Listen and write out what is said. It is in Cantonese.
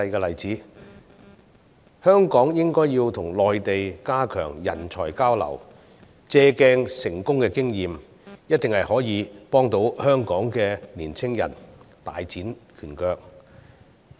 香港應該要跟內地加強人才交流，借鑒成功的經驗，這樣一定可以幫助香港的年青人大展拳腳。